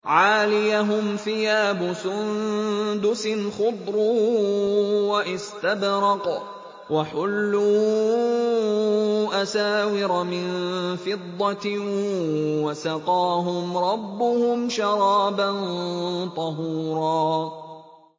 عَالِيَهُمْ ثِيَابُ سُندُسٍ خُضْرٌ وَإِسْتَبْرَقٌ ۖ وَحُلُّوا أَسَاوِرَ مِن فِضَّةٍ وَسَقَاهُمْ رَبُّهُمْ شَرَابًا طَهُورًا